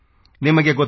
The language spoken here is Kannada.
ನಿಮಗೆ ಗೊತ್ತು